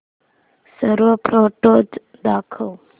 सर्व फोटोझ दाखव